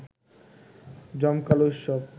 জমকালো উৎসব